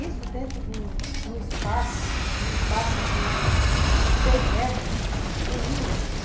Isso dentro de um de um espaço de seis metros com um.